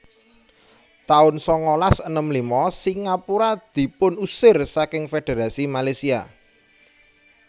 taun sangalas enem lima Singapura dipunusir saking Fédherasi Malaysia